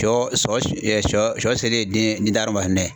Sɔ sɔ sɔ sɔ selen den